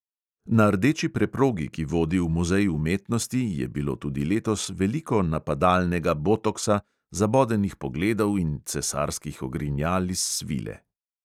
Na rdeči preprogi, ki vodi v muzej umetnosti, je bilo tudi letos veliko napadalnega botoksa, zabodenih pogledov in cesarskih ogrinjal iz svile.